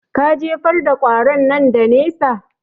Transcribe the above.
Ka jefar da ƙwaron nan da nesa